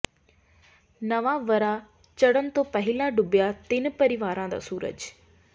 ਨਵਾਂ ਵਰ੍ਹਾ ਚੜ੍ਹਨ ਤੋਂ ਪਹਿਲਾਂ ਡੁੱਬਿਆ ਤਿੰਨ ਪਰਿਵਾਰਾਂ ਦਾ ਸੂਰਜ